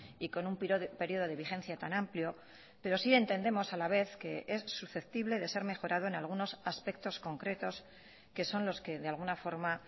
y con un periodo de vigencia tan amplio pero sí entendemos a la vez que es susceptible de ser mejorado en algunos aspectos concretos que son los que de alguna forma